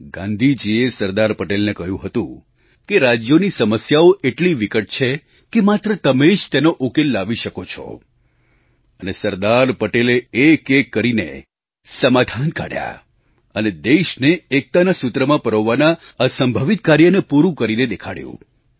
ગાંધીજીએ સરદાર પટેલને કહ્યું હતું કે રાજ્યોની સમસ્યાઓ એટલી વિકટ છે કે માત્ર તમે જ તેનો ઉકેલ લાવી શકો છો અને સરદાર પટેલે એકએક કરીને સમાધાન કાઢ્યાં અને દેશને એકતાના સૂત્રમાં પરોવવાના અસંભવિત કાર્યને પૂરું કરીને દેખાડ્યું